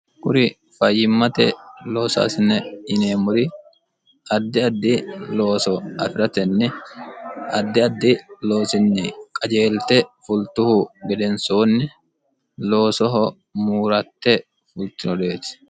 kuri fayyimmate loosaasine yinemori addi addi looso afi'ratenni addi addi loosinni qajeelte fultuhu gedensoonni loosoho muuratte fultinoreeti